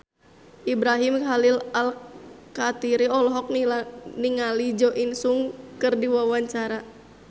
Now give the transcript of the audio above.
Ibrahim Khalil Alkatiri olohok ningali Jo In Sung keur diwawancara